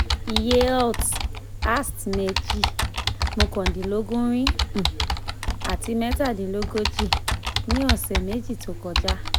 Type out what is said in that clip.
iye alt/ast mi jẹ́ mokandinlogorin um àti metadinlogoji ní ọ̀sẹ̀ meji tó kọjá